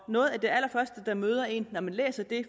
noget af det allerførste der møder en når man læser det